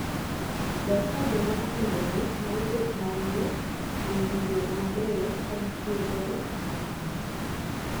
Ber ka joma okendore nyalo bet mawuo e wii yore mabeyo ka gitiyo godo e komo nyuol.